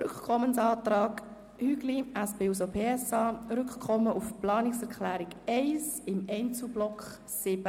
Rückkommensantrag Hügli, SP-JUSO-PSA-Fraktion, Rückkommen auf die Planungserklärung 1 im Einzelblock 7.f.